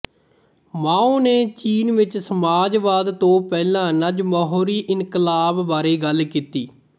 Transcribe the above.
ਮਾਓ ਨੇ ਚੀਨ ਵਿੱਚ ਸਮਾਜਵਾਦ ਤੋਂ ਪਹਿਲਾਂ ਨ੍ਵਜਮਹੂਰੀਇਨਕਲਾਬ ਬਾਰੇ ਗੱਲ ਕੀਤੀ